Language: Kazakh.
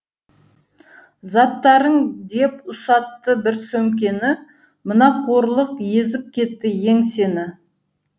заттарың деп ұстатты бір сөмкені мына қорлық езіп кетті еңсені